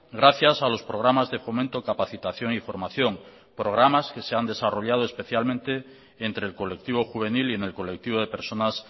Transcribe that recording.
gracias a los programas de fomento capacitación y formación programas que se han desarrollado especialmente entre el colectivo juvenil y en el colectivo de personas